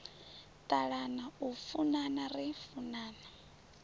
ṱalana u funana ri funana